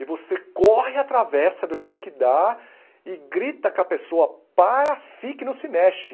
E você corre, atravessa do jeito que dá e grita com a pessoa, para, fique, não se mexe.